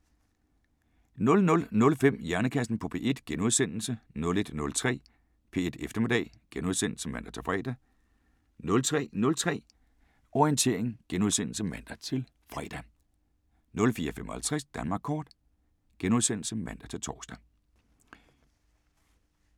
00:05: Hjernekassen på P1 * 01:03: P1 Eftermiddag *(man-fre) 03:03: Orientering *(man-fre) 04:55: Danmark kort *(man-tor)